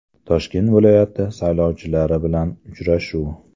Toshkent viloyati saylovchilari bilan uchrashuv.